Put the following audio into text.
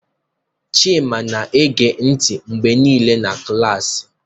Chima na-ege ntị mgbe niile na klaasị.